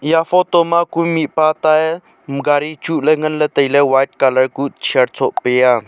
eya photo ma ku mihpa tae gari chuhley nganley tailey white colour kuh shirt shoh peya.